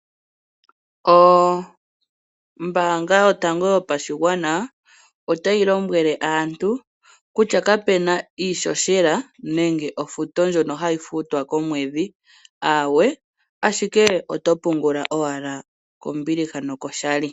Ombaanga yotango yopashigwana otayi lombwele aantu kutya kapuna iihohela nenge ofuto ndjono hayi futwa komwedhi , aawe ashike oto pungula owala kombiliha nokoshali.